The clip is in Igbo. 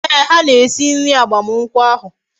Ee, ha na-esi nri agbamakwukwo ahu